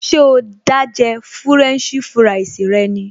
Ṣé o dá jẹ fúrẹ́ǹṣì fúráìsì rẹ ni?